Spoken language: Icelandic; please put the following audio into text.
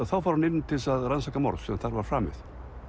þá fór hann til að rannsaka morð sem þar var framið